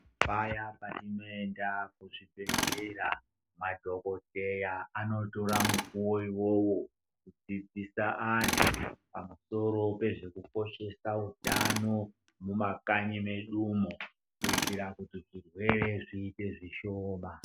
Paya patinoenda kuzvibhedhlera madhokodheya anotora mukuwo uwowo kudzidzisa andu pamusoro pezvekukoshesa utano mumakanyi medumo kuitira kuti zvirwere zviite zvishoma.